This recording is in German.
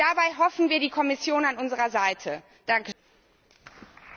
Und dabei hoffen wir, die Kommission an unserer Seite zu haben.